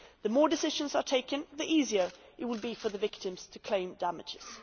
The more decisions are taken, the easier it will be for the victims to claim damages.